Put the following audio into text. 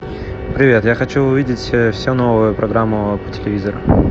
привет я хочу увидеть все новые программы по телевизору